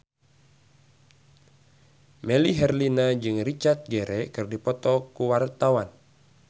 Melly Herlina jeung Richard Gere keur dipoto ku wartawan